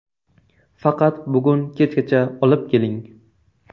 Faqat bugun kechgacha olib keling.